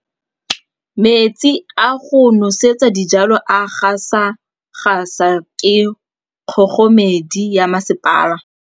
Metsi a go nosetsa dijalo a gasa gasa ke kgogomedi ya masepala.